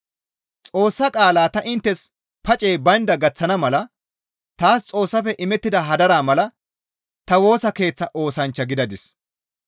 Xoossa qaalaa ta inttes pacey baynda gaththana mala taas Xoossafe imettida hadaraa mala ta Woosa Keeththa oosanchcha gidadis.